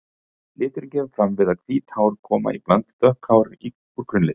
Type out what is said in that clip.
Liturinn kemur fram við að hvít hár koma í bland við dökk hár úr grunnlit.